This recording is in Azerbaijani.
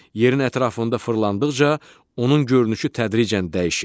Yerin ətrafında fırlandıqca onun görünüşü tədricən dəyişir.